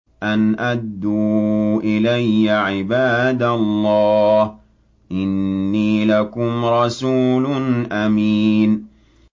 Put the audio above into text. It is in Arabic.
أَنْ أَدُّوا إِلَيَّ عِبَادَ اللَّهِ ۖ إِنِّي لَكُمْ رَسُولٌ أَمِينٌ